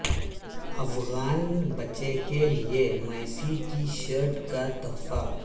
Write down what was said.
افغان بچے کے لیے میسی کی شرٹ کا تحفہ